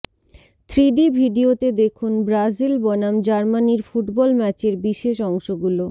three D ভিডিওতে দেখুন Brazil বনাম জার্মানির ফুটবল ম্যাচের বিশেষ অংশ গুলো